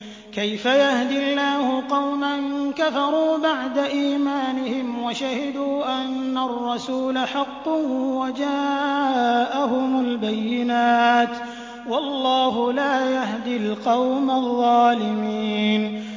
كَيْفَ يَهْدِي اللَّهُ قَوْمًا كَفَرُوا بَعْدَ إِيمَانِهِمْ وَشَهِدُوا أَنَّ الرَّسُولَ حَقٌّ وَجَاءَهُمُ الْبَيِّنَاتُ ۚ وَاللَّهُ لَا يَهْدِي الْقَوْمَ الظَّالِمِينَ